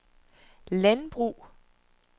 landbrug